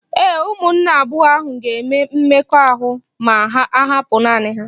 Ee, ụmụnne abụọ ahụ ga-eme mmekọahụ ma ahapụ naanị ha.